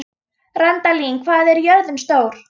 Randalín, hvað er jörðin stór?